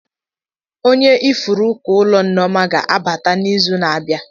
Onye ifuru uko ụlọ Nneoma ga-abata n'izu na-abịa.